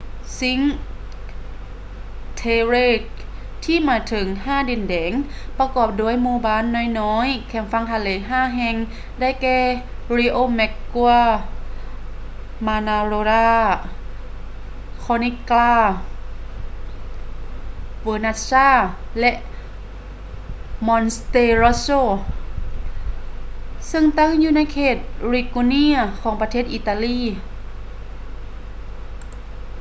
ຊິງຄ໌ ເທເຣ cinque terre ທີ່ໝາຍເຖິງ ຫ້າດິນແດນ ປະກອບດ້ວຍໝູ່ບ້ານນ້ອຍໆແຄມຝັ່ງທະເລ ຫ້າແຫ່ງ ໄດ້ແກ່ ຣິໂອແມັກກົວ riomaggiore ມານາໂຣລາ manarola ຄໍນິກກຼາ corniglia ເວີນັດຊາ vernazza ແລະ ມອນເຕຣັອດໂຊ monterosso ຊຶ່ງຕັ້ງຢູ່ໃນເຂດ ລິກູເຣຍ liguria ຂອງ ປະເທດ ອີຕາລີ